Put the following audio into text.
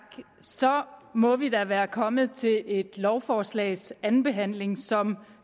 så må vi da være kommet til et lovforslags andenbehandling som